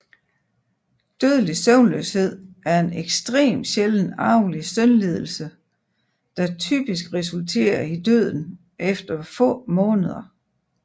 Dødelig søvnløshed er en extrem sjælden arvelig søvnlidelse der typisk resulterer i døden efter få måneder